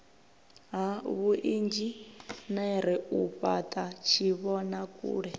ha vhuinzhinere u fhata tshivhonakule